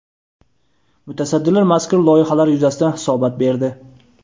Mutasaddilar mazkur loyihalar yuzasidan hisobot berdi.